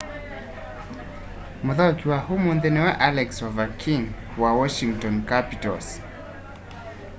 mũthaũki wa ũmũnthĩ nĩwe alex ovechkin wa washington capitals